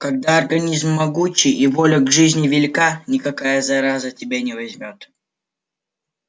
когда организм могучий и воля к жизни велика никакая зараза тебя не возьмёт